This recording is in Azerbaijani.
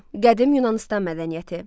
Qədim Yunanıstan mədəniyyəti.